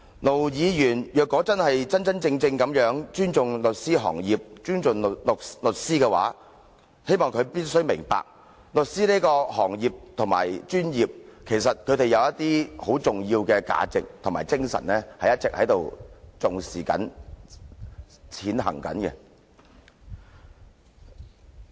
盧議員如果真的尊重律師和律師行業，他必須明白，律師行業或專業一向重視並一直實踐一些十分重要的價值和精神。